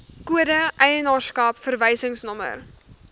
kode eienaarskap verwysingsnommer